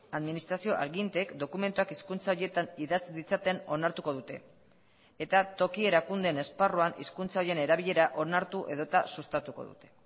administrazio aginteek dokumentuak hizkuntza horietan idatz ditzaten onartuko dute eta toki erakundeen esparruan hizkuntza horien erabilera onartu edota sustatuko dute